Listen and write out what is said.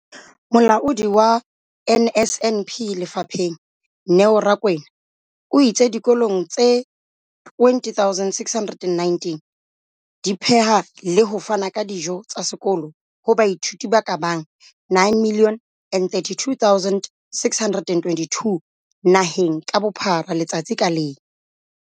Molaodi wa NSNP lefapheng, Neo Rakwena, o itse dikolo tse 20 619 di pheha le ho fana ka dijo tsa sekolo ho baithuti ba ka bang 9 032 622 naheng ka bophara letsatsi ka leng.